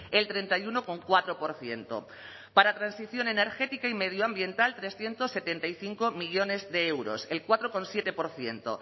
el treinta y uno coma cuatro por ciento para transición energética y medioambiental trescientos setenta y cinco millónes de euros el cuatro coma siete por ciento